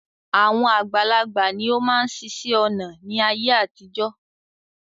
Àwọn àgbàlagbà ni ó máa ń ṣiṣẹ́ ọnà ni ayé àtijọ́